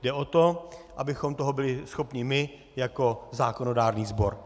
Jde o to, abychom toho byli schopni my jako zákonodárný sbor.